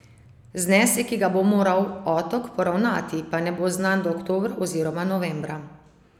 Znesek, ki ga bo moral Otok poravnati, pa ne bo znan do oktobra oziroma novembra.